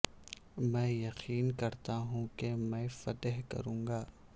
میں یقین کرتا ہوں کہ میں فتح کروں گا